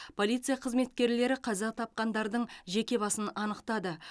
полиция қызметкерлері қаза тапқандардың жеке басын анықтады